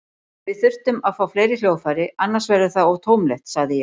Við þyrftum að fá fleiri hljóðfæri, annars verður það of tómlegt, sagði ég.